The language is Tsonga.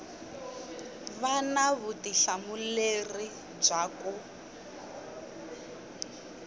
va na vutihlamuleri bya ku